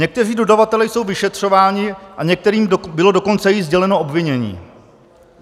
Někteří dodavatelé jsou vyšetřováni a některým bylo dokonce i sděleno obvinění.